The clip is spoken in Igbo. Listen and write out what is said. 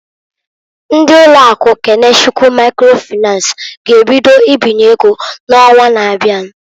Ndị ụlọ akụ Kenechukwu Maikro Fịnans g'ebido ibinye ego n'onwa na-abia.